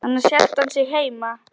Annars hélt hann sig heima.